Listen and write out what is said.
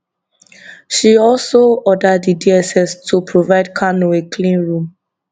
she also order di dss to provide kanu a clean room